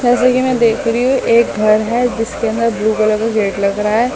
जैसे मैं देख रही हूं एक घर है जिसके अंदर ब्लू कलर का गेट लग रहा है।